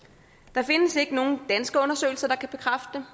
der findes ikke nogen danske undersøgelser der kan bekræfte